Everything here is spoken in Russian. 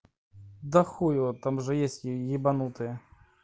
да хуй его там же есть ебанутые